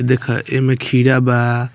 देखा एमे खीरा बा।